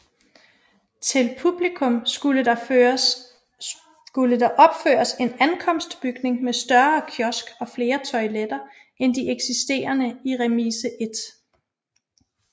Til publikum skulle der opføres en ankomstbygning med større kiosk og flere toiletter end de eksisterende i Remise 1